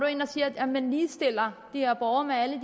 ind og siger at man ligestiller de her borgere med alle